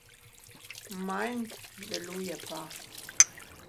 Manj, deluje pa.